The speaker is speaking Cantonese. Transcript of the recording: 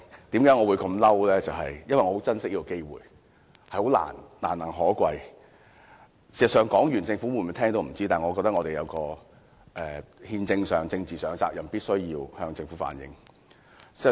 事實上，發言完畢後，政府是否聽得到，我們也不知道，但我認為我們在憲政上、政治上有責任，必須向政府反映意見。